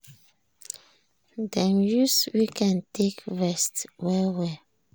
dem use weekend take rest well-well